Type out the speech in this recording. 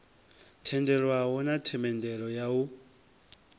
tendelwaho na themendelo ya u